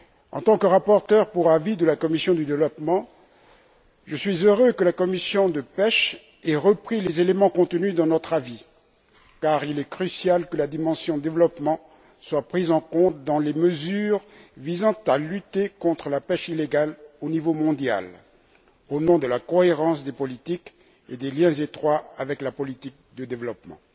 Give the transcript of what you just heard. En tant que rapporteur pour avis de la commission du développement, je suis heureux que la commission de la pêche ait repris les éléments contenus dans notre avis, car il est crucial que la dimension développement soit prise en compte dans les mesures visant à lutter contre la pêche illégale au niveau mondial au nom de la cohérence politique et des liens étroits avec la politique de développement.